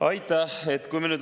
Aitäh!